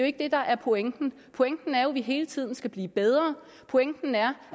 ikke det der er pointen pointen er jo at vi hele tiden skal blive bedre pointen er